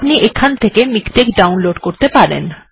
আপনি এটিকে ডাউনলোড় করতে পারেন